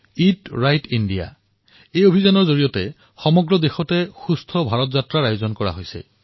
it right India অভিযানৰ অধীনত সমগ্ৰ দেশত সুস্থ ভাৰত যাত্ৰাৰ পদক্ষেপ গ্ৰহণ কৰা হৈছে